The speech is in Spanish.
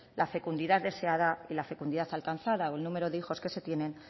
la fecundidad deseada y la fecundidad alcanzada el número de hijos que se tienen